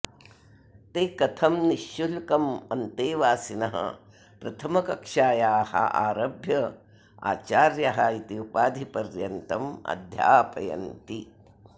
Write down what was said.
ते कथं निःशुल्कम् अन्तेवासिनः प्रथमकक्षायाः आरभ्य आचार्यः इति उपाधिपर्यन्तम् अध्यापयन्ति